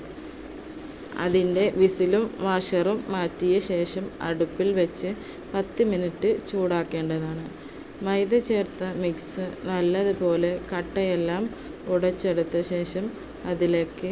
അതിന്‍ടെ whistle ഉം washer ഉം മാറ്റിയശേഷം, അടുപ്പിൽവെച്ച് പത്തു minute ചൂടാക്കേണ്ടതാണ്. മൈദ ചേർത്ത mix നല്ലതുപോലെ കട്ടയെല്ലാം ഉടച്ചെടുത്തശേഷം അതിലേക്ക്